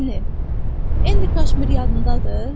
Lenny, Elni Kaşmir yadındadır?